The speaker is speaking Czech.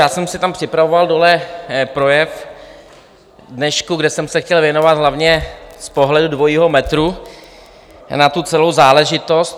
Já jsem si tam připravoval dole projev k dnešku, kde jsem se chtěl věnovat hlavně z pohledu dvojího metru na tu celou záležitost.